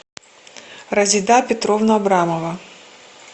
разида петровна абрамова